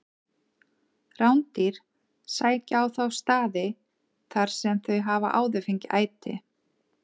Rándýr sækja á þá staði þar sem þau hafa áður fengið æti.